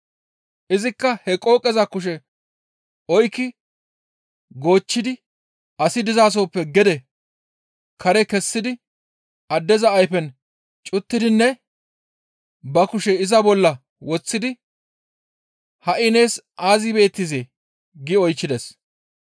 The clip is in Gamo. Izikka he qooqeza kushe oykki goochchidi asi dizasoppe gede kare kessidi addeza ayfen cuttidinne ba kushe iza bolla woththidi, «Ha7i nees aazi beettizee?» gi oychchides.